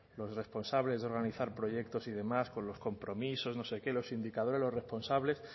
los responsables de organizar proyectos y demás con los compromisos no sé qué los indicadores los responsables